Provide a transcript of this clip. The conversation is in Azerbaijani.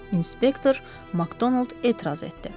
İnspektor Makdonald etiraz etdi.